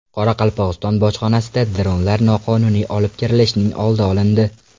Qoraqalpog‘iston bojxonasida dronlar noqonuniy olib kirilishining oldi olindi.